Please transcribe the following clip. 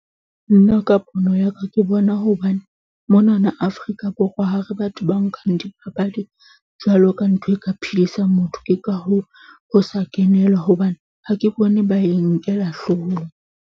Nna ka pono ya ka, ke bona hobane mona na Afrika Borwa, ha re batho ba nkang dipapadi jwalo ka ntho e ka phedisang motho. Ke ka hoo ho sa kenelwa hobane ha ke bone ba e nkela hloohong.